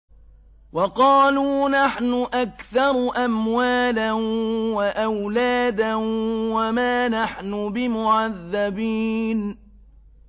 وَقَالُوا نَحْنُ أَكْثَرُ أَمْوَالًا وَأَوْلَادًا وَمَا نَحْنُ بِمُعَذَّبِينَ